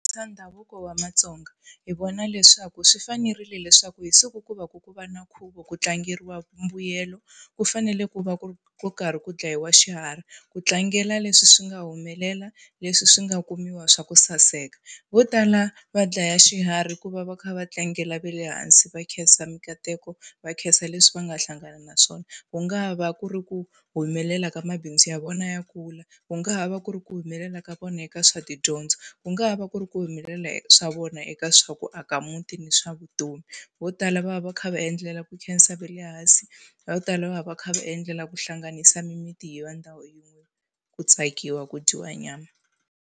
ndhavuko wa matsonga hi vona leswaku swi fanerile leswaku hi siku ku va ku ku va na nkhuvo ku tlangeriwa mbuyelo, ku fanele ku va ku ku karhi ku dlayiwa xiharhi ku tlangela leswi swi nga humelela, leswi swi nga kumiwa swa ku saseka. Vo tala va dlaya xiharhi ku va va kha va tlangela ve le hansi, va khensa minkateko, va khensa leswi va nga hlangana na swona. Ku nga ha va ku ri ku humelela ka mabindzu ya vona ya kula, ku nga ha va ku ri ku humelela ka vona eka swa tidyondzo, ku nga ha va ku ri ku humelela swa vona eka swa ku aka muti ni swa vutomi. Vo tala va va kha va endlela ku khensa ve le hansi, va ku tala va va kha va endlela ku hlanganisa mimiti yi va ndhawu yin'we, ku tsakiwa, ku dyiwa nyama.